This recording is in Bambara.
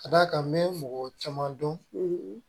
Ka d'a kan n bɛ mɔgɔ caman dɔn